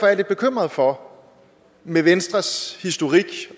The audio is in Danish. jeg lidt bekymret for med venstres historik